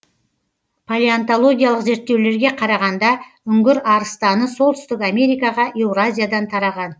палеонтологиялық зерттеулерге қарағанда үңгір арыстаны солтүстік америкаға еуразиядан тараған